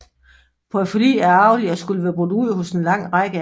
Porfyri er arvelig og skulle være brudt ud hos en lang række af dem